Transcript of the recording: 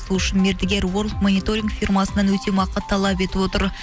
сол үшін мердігер ворлд мониторинг фирмасынан өтемақы талап етіп отыр